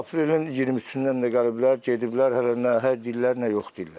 Aprelin 23-dən də gəliblər, gediblər, hələ nə hə deyirlər, nə yox deyirlər.